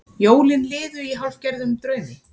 Jólin liðu í hálfgerðum draumi.